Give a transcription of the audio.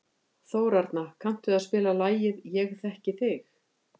Þórarna, kanntu að spila lagið „Ég þekki þig“?